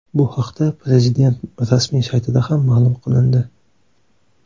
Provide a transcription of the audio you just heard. Bu haqda prezident rasmiy saytida ma’lum qilindi .